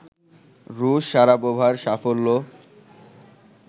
রুশ শারাপোভার সাফল্য